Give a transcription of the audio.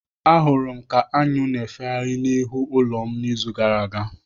Ahụrụ m ka aṅụ na-efegharị n'ihu ulo m n'izu gara aga.